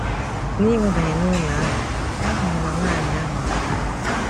N’ịwabanye n’ụlọ ahụ, ha hụrụ na nwanyị ahụ anwụọla.